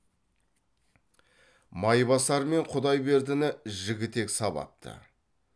майбасар мен құдайбердіні жігітек сабапты